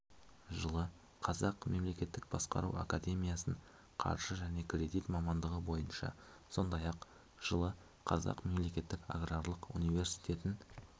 жылы қазақ мемлекеттік басқару академиясын қаржы және кредит мамандығы бойынша сондай-ақ жылы қазақ мемлекеттік аграрлық университетін